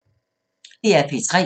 DR P3